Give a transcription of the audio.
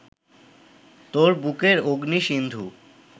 তোর বুকের অগ্নি-সিন্ধু